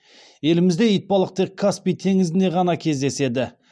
елімізде итбалық тек каспий теңізінде ғана кездеседі